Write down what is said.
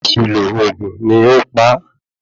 Àṣìlo oògùn ni ó pa á